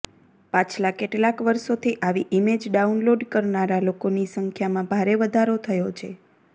પાછલાં કેટલાંક વર્ષોથી આવી ઇમેજ ડાઉનલોડ કરનારા લોકોની સંખ્યામાં ભારે વધારો થયો છે